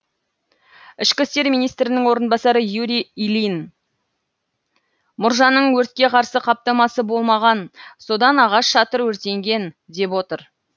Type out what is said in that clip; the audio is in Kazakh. ішкі істер министрінің орынбасары юрий ильин мұржаның өртке қарсы қаптамасы болмаған содан ағаш шатыр өртенген деп отыр